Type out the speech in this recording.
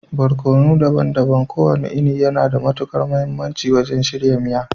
Barkono daban-daban kowane iri yana da matukar mahimmanci wajen shirya miya